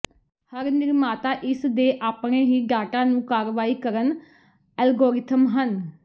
ਹਰ ਨਿਰਮਾਤਾ ਇਸ ਦੇ ਆਪਣੇ ਹੀ ਡਾਟਾ ਨੂੰ ਕਾਰਵਾਈ ਕਰਨ ਐਲਗੋਰਿਥਮ ਹਨ